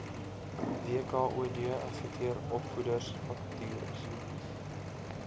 wkod adverteer opvoedersvakatures